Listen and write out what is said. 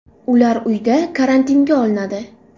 Ular uyda karantinga olinadi.